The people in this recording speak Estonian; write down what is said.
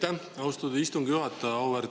Aitäh, austatud istungi juhataja!